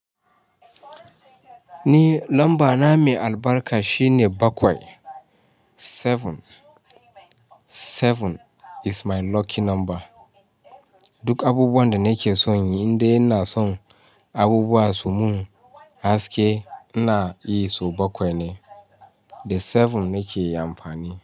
Ni lamba na mai albarka shine bakwai. Seven, seven is my lucky number. Duk abubuwan da nake son yi, inda ina son abubuwa su mun haske, ina yi so bakwai ne. Da seven nake amfani.